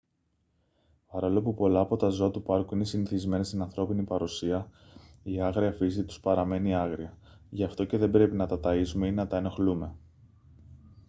παρόλο που πολλά από τα ζώα του πάρκου είναι συνηθισμένα στην ανθρώπινη παρουσία η άγρια φύση τους παραμένει άγρια γι αυτό και δεν πρέπει να τα ταΐζουμε ή να τα ενοχλούμε